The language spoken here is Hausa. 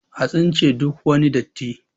a tsince duk wani datti!